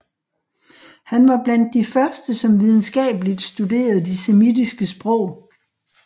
Han var blandt de første som videnskabeligt studerede de semitiske sprog